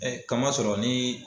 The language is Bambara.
kamasɔrɔ ni